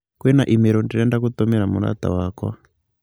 Kwĩna i-mīrū ndĩrenda gũtũmĩra mũrata wakwa.